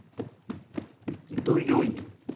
дуюнь